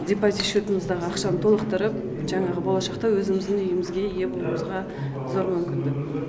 депозит счетымыздағы ақшаны толықтырып жаңағы болашақта өзіміздің үйімізге ие болуымызға зор мүмкіндік